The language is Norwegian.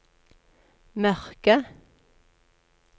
mørke